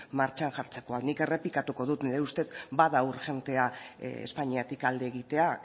martxan jartzeko nik errepikatuko dut nire ustez bada urgentea espainiatik alde egitea